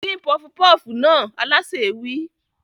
Dín pọfupọ́fù náà! Alásè wí.